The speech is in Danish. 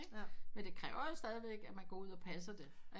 Men det kræver jo stadig væk at man går ud og passer det ikke